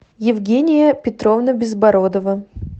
евгения петровна безбородова